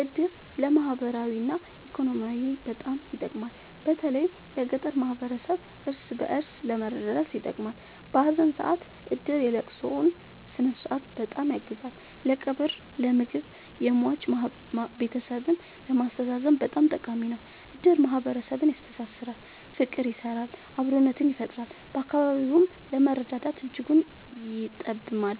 እድር ለማህበራዊ እና ኢኮኖሚያዊ በጣም ይጠቅማል። በተለይ ለገጠር ማህበረሰብ እርስ በእርስ ለመረዳዳት ይጠቅማል። በሀዘን ሰአት እድር የለቅሶውን ስነስርዓት በጣም ያግዛል ለቀብር ለምግብ የሟች ቤተሰብን ለማስተዛዘን በጣም ጠቃሚ ነው። እድር ማህረሰብን ያስተሳስራል። ፍቅር ይሰራል አብሮነትን ይፈጥራል። በኢኮኖሚም ለመረዳዳት እጅጉን ይጠብማል።